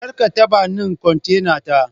karkatabanin kontena ta